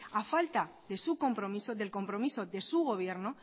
a falta de su compromiso del compromiso de su gobierno